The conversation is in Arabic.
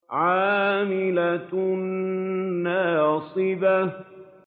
عَامِلَةٌ نَّاصِبَةٌ